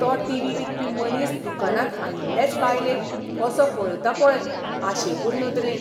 तो टिव्ही विकपी मनीस दुकानांत आयिल्लेच बायलेक कसो पळयता पळय आशेकूर नदरेन!